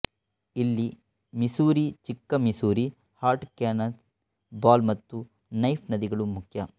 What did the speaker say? ಇಲ್ಲಿ ಮಿಸೂರಿ ಚಿಕ್ಕ Missouri Heart Cannonball ಮತ್ತು ನೈಫ್ ನದಿಗಳು ಮುಖ್ಯ